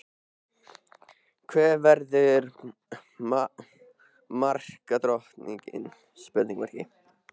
Hver verður markadrottning?